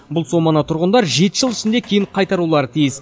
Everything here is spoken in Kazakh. бұл соманы тұрғындар жеті жыл ішінде кейін қайтарулары тиіс